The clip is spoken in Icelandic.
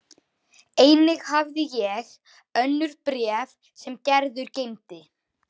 Einnig hafði ég önnur bréf sem Gerður geymdi.